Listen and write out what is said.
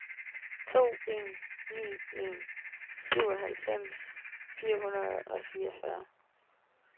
to en ni en syvoghalvfems fire hundrede og fireogfyrre